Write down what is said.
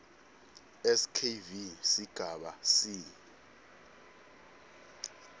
skv sigaba c